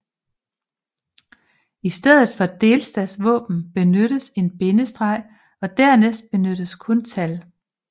I stedet for delstatsvåben benyttes en bindestreg og dernæst benyttes kun tal